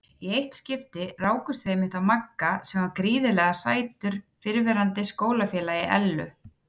Í eitt skipti rákumst við einmitt á Magga sem var gríðarlega sætur fyrrverandi skólafélagi Ellu.